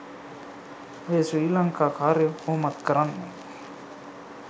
ඔය ශ්‍රී ලංකා කාරයෝ කොහොමත් කරන්නෙ